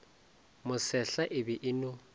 mosehla e be e no